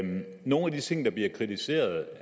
nogle af de ting der bliver kritiseret